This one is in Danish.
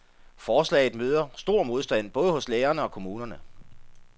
Forslaget møder stor modstand både hos lærerne og kommunerne.